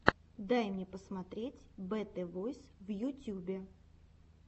дай мне посмотреть бэтэ войс в ютюбе